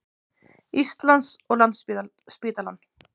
Íslands og Landspítalann.